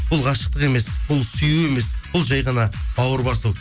бұл ғашықтық емес бұл сүю емес бұл жай ғана бауыр басу